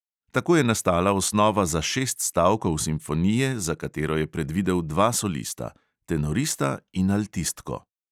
Tako je nastala osnova za šest stavkov simfonije, za katero je predvidel dva solista: tenorista in altistko.